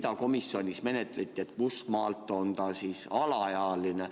Kas komisjonis arutati, kust maalt laps on alaealine?